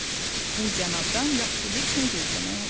bu cənabdan yaxşı heç nə gözləmək olmaz.